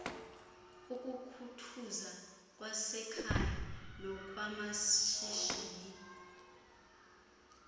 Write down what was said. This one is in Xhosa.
ukukhuthuza kwasekhaya nokwamashishini